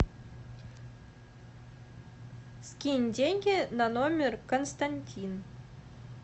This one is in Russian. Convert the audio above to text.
скинь деньги на номер константин